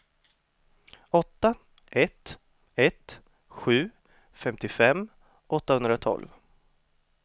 åtta ett ett sju femtiofem åttahundratolv